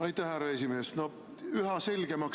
Aitäh, härra esimees!